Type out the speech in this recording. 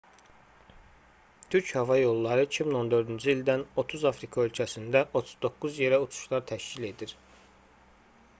türk hava yolları 2014-cü ildən 30 afrika ölkəsində 39 yerə uçuşlar təşkil edir